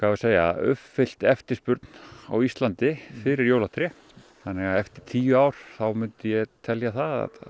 að segja uppfyllt eftirspurn á Íslandi fyrir jólatré þannig að eftir tíu ár þá myndi ég telja það að